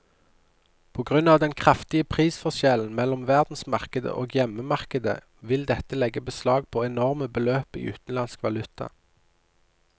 På grunn av den kraftige prisforskjellen mellom verdensmarkedet og hjemmemarkedet vil dette legge beslag på enorme beløp i utenlandsk valuta.